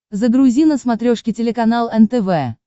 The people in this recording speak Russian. загрузи на смотрешке телеканал нтв